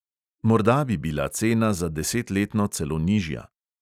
Morda bi bila cena za desetletno celo nižja.